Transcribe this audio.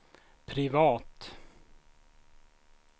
privat